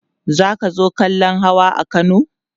zaka zo kallan Hawa a Kano?